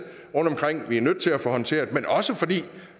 rundtomkring som vi er nødt til at få håndteret men også fordi